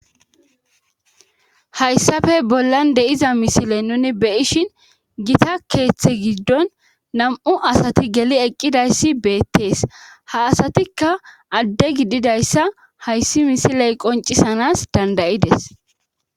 Hayssafe bollan de'iza misiley nuni beyishin gita keeththe giddon nam'u asati geli eqqidayssi beettees ha asatikka adde gididayssa hayssi misiley qoncisanas dandayides.